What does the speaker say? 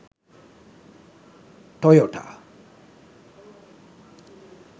toyota